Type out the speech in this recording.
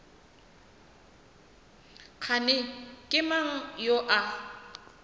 kgane ke mang yo a